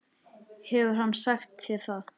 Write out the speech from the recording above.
Hefur hann sagt þér það?